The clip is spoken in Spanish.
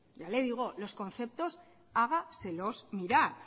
ya le digo los conceptos hágaselos mirar